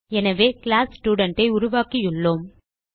எனவே கிளாஸ் studentஐ உருவாக்கியுள்ளோம்